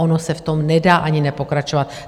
Ono se v tom nedá ani nepokračovat.